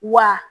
Wa